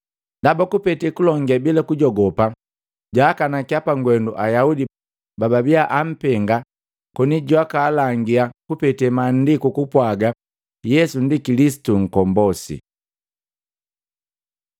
Ndaba kupete kulonge bila kujogopa jaakanakya pangwendu Ayaudi bababia apenga koni jwakalangia kupete Maandiku kupwaga Yesu ndi Kilisitu Nkombosi.